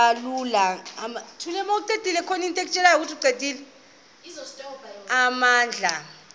ka ulana amabandla